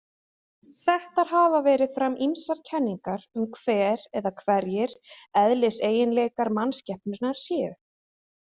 Settar hafa verið fram ýmsar kenningar um hver eða hverjir eðliseiginleikar manskepnunnar séu.